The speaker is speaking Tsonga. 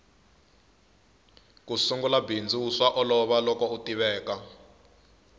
ku sungula bindzu swa olova loko u tiveka